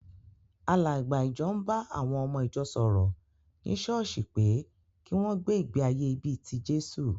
Àlàgbà ìjọ ń ba àwọn ọmọ ìjọ sọ̀rọ̀ ní ṣọ́ọ́ṣì pé kí wọ́n gbé ìgbé-ayé bí i ti Jésù.